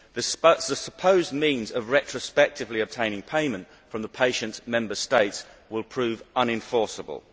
The supposed means of retrospectively obtaining payment from the patient's Member State will prove unenforceable.